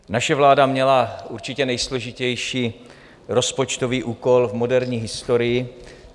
Naše vláda měla určitě nejsložitější rozpočtový úkol v moderní historii.